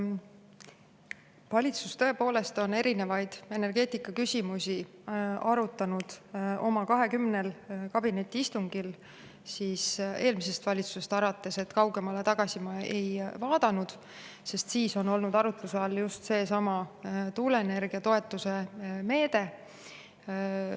Valitsus tõepoolest on erinevaid energeetikaküsimusi arutanud oma 20 kabinetiistungil – eelmisest valitsusest alates, kaugemale tagasi ma ei vaadanud –, siis on olnud arutluse all just seesama tuuleenergia toetuse meede.